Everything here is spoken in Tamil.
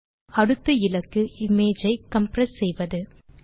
நம் அடுத்த இலக்கு எளியதொரு வழியில் இமேஜ் ஐ கம்ப்ரஸ் செய்வது